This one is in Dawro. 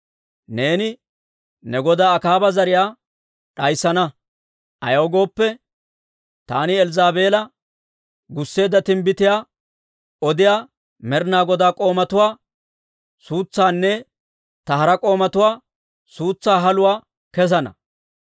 Neeni ne goda Akaaba zariyaa d'ayssana. Ayaw gooppe, taani Elzzaabeela gusseedda timbbitiyaa odiyaa Med'inaa Godaa k'oomatuwaa suutsaanne ta hara k'oomatuwaa suutsaa haluwaa kessana.